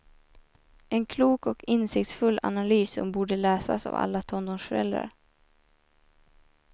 En klok och insiktsfull analys som borde läsas av alla tonårsföräldrar.